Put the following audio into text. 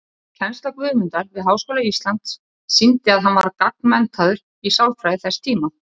Kennsla Guðmundar við Háskóla Íslands sýndi að hann var gagnmenntaður í sálfræði þess tíma.